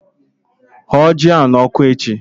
Hụọ ji ahụ n'ọkụ echi!